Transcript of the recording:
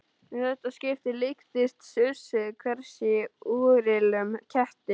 Í þetta skipti líktist sussið hvæsi í úrillum ketti.